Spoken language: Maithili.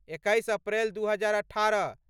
एकैस अप्रैल दू हजार अठारह